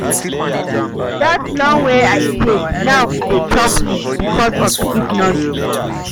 Dat loan wey I take, now e dey choke me because of di economy.